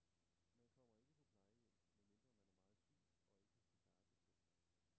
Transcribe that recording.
Man kommer ikke på plejehjem, medmindre man er meget syg og ikke kan klare sig selv.